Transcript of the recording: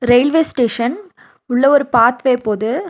Railway station உள்ள ஒரு pathway போது.